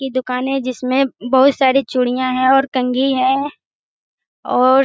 यह दुकान है जिसमें बहुत सारी चूड़ियां हैं और कंघी है और --